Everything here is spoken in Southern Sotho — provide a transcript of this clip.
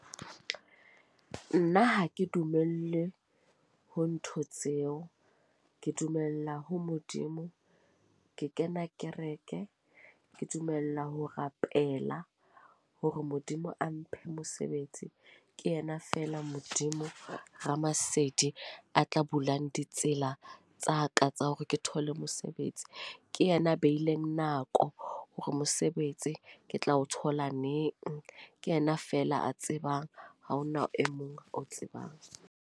Nna ha ke dumelle ho ntho tseo, ke dumella ho Modimo. Ke kena kereke. Ke dumela ho rapela hore Modimo a mphe mosebetsi. Ke yena feela Modimo Ramasedi, a tla bulang ditsela tsa ka tsa hore ke thole mosebetsi. Ke yena a beileng nako hore mosebetsi ke tla o thola neng. Ke yena feela a tsebang, ha hona e mong o tsebang.